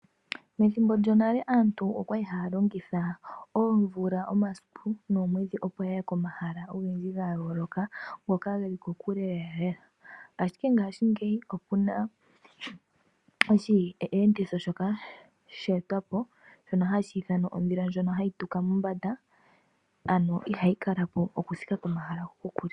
Methimbo lyonale aantu okwali haya longitha oomvula, omaiku noomwedhi opo yaye komahala ogendji ga yooloka ngoka geli kokule lela lela. Okuna oshiyenditho shoka sha etwapo shoka hashi ithanwa ondhila ndjoka hayi tuka mombanda, ano ihayi kalapo oku thika po mahala go kokule.